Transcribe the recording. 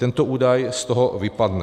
Tento údaj z toho vypadne.